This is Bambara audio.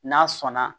N'a sɔnna